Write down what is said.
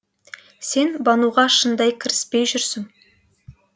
сен бануға шындап кіріспей жүрсің